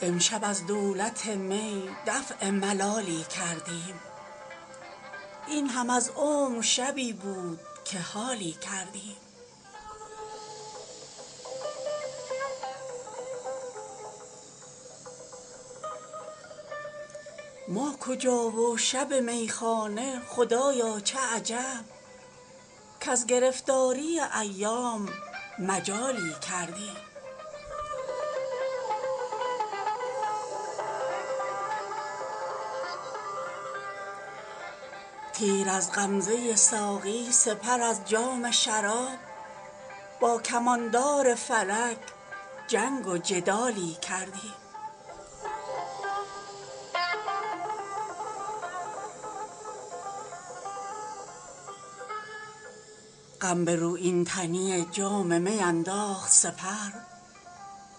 امشب از دولت می دفع ملالی کردیم این هم از عمر شبی بود که حالی کردیم ما کجا و شب میخانه خدایا چه عجب کز گرفتاری ایام مجالی کردیم تیر از غمزه ساقی سپر از جام شراب با کماندار فلک جنگ وجدالی کردیم غم به رویین تنی جام می انداخت سپر